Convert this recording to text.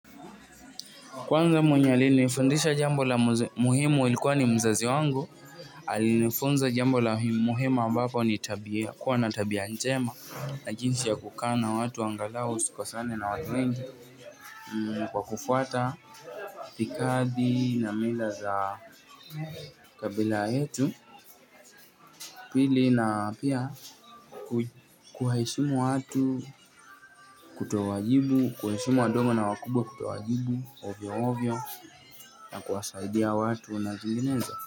Kwanza mwenye alinifundisha jambo la muhimu ilikuwa ni mzazi wangu alinifunza jambo la muhimu ambapo ni tabia kuwa na tabia njema na jinsi ya kukaa na watu angalau usikosane na watu wengi kwa kufuata itikadi na mila za kabila yetu pili na pia kuwaheshimu watu kutowajibu kuheshimu wadogo na wakubwa kutowajibu ovyo ovyo kuwasaidia watu na zinginezo.